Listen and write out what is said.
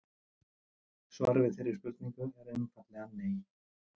Svarið við þeirri spurningu er einfaldlega nei!